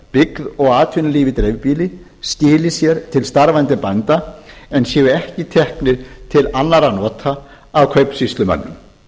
byggð og atvinnulíf í dreifbýli skili sér til starfandi bænda en séu ekki teknir til annarra nota af kaupsýslumönnum